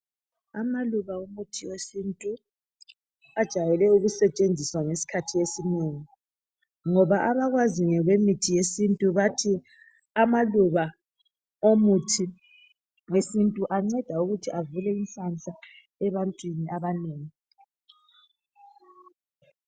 Amaluba omuthi wesintu ajayele ukusetshenziswa ngesikhathi esinengi, ngoba abakwaziyo ngokemithi yesintu bathi amaluba omuthi wesintu anceda ukuthi avule inhlanhla ebantwini abanengi.